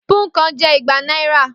Púnǹkan je igba náírà